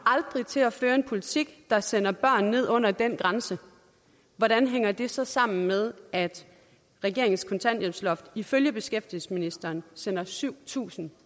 til at føre en politik der sender børn ned under den grænse hvordan hænger det så sammen med at regeringens kontanthjælpsloft ifølge beskæftigelsesministeren sender syv tusind